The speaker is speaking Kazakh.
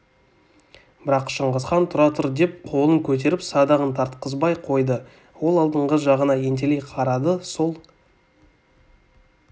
бірақ шыңғысхан тұра тұр деп қолын көтеріп садағын тартқызбай қойды ол алдыңғы жағына ентелей қарады сол